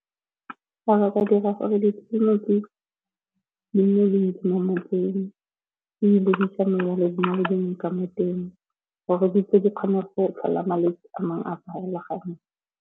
Fa ba ka dira gore ditleliniki le ka mo teng, gore di kgone go tlhola malwetse a mangwe a farologaneng.